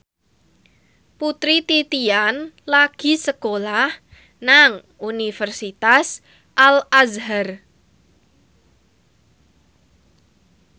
Putri Titian lagi sekolah nang Universitas Al Azhar